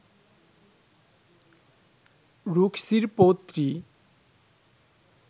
রুক্মীর পৌত্রী